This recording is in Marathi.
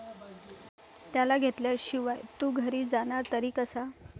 त्याला घेतल्याशिवाय तू घरी जाणार तरी कसा?